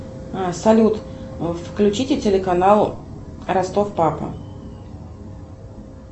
салют включите телеканал ростов папа